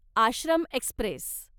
Ashram Express